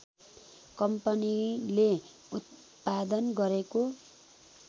कम्पनीले उत्पादन गरेको